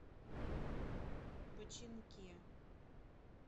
починке